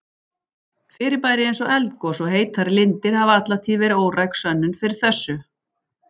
Fyrirbæri eins og eldgos og heitar lindir hafa alla tíð verið óræk sönnun fyrir þessu.